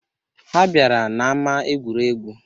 Ha bịara n'ama egwuregwu